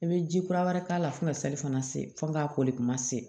I bɛ ji kura wɛrɛ k'a la fo ka sali fana se fo k'a koli kuma se